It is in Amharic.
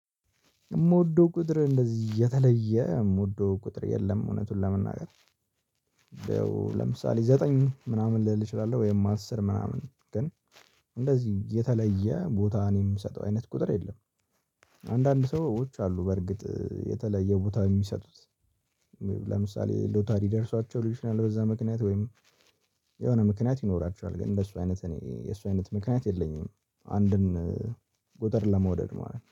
የምወደው ቁጥር እንደዚህ የተለየ የምወደው ቁጥር የለም እውነቱን ለመናገር። ለምሳሌ ዘጠኝ ምናምን ልል እችላለሁ ወይም አስር ምናምን ግን እንደዚህ የተለየ ቦታ እኔ የምሰጠው አይነት ቁጥር የለም። አንዳንድ ሰዎች አሉ በርግጥ የተለየ ቦታ የሚሰጡት። ሎተሪ ደርሷቸው በዛ ምክንያት ወይም የሆነ ምክንያት ይኖራቸዋል ግን እንደሱ አይነት እኔ የሱ አይነት ምክንያት የለኝም። አንድን ቁጥር ለመውደድ ማለት ነው